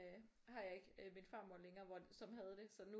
Øh har jeg ikke øh min farmor længere hvor som havde det så nu